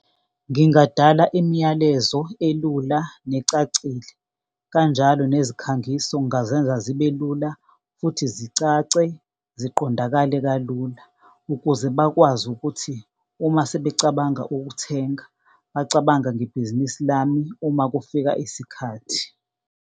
Ngingadala imiyalezo elula necacile kanjalo nezikhangiso ngingazenza zibe lula, futhi zicace ziqondakale kalula, ukuze bakwazi ukuthi uma sebecabanga ukuthenga, bacabanga ngebhizinisi lami uma kufika isikhathi.